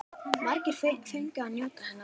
Margir fengu að njóta hennar.